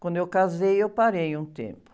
Quando eu casei, eu parei um tempo.